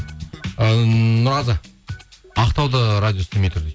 ммм нұрғазы ақтауда радио істемей тұр дейді